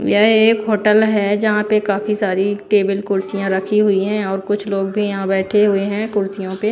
यह एक होटल है जहां पे काफी सारी टेबल कुर्सियां रखी हुई हैं और कुछ लोग भी यहां बैठे हुए हैं कुर्सियों पे--